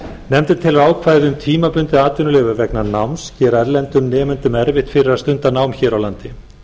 nefndin telur ákvæði um tímabundið atvinnuleyfi vegna náms gera erlendum nemendum erfitt fyrir að stunda nám hér á landi